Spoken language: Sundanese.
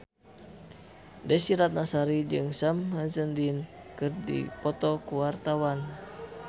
Desy Ratnasari jeung Sam Hazeldine keur dipoto ku wartawan